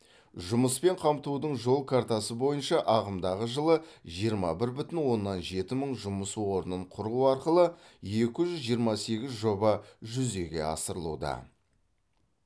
жұмыспен қамтудың жол картасы бойынша ағымдағы жылы жиырма бір бүтін оннан жеті мың жұмыс орнын құру арқылы екі жүз жиырма сегіз жоба жүзеге асырылуда